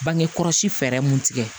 Bange kɔlɔsi fɛɛrɛ mun tigɛ